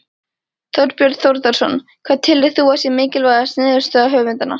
Þorbjörn Þórðarson: Hvað telur þú að sé mikilvægasta niðurstaða höfundanna?